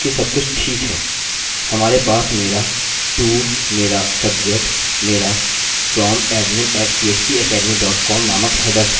देख रहा हूँ कि सबकुछ ठीक है हमारे पास मेरा to मेरा subject मेरा from:admin@phpacademycom नामक headers है